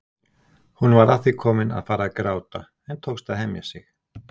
Hún var að því komin að fara að gráta en tókst að hemja sig.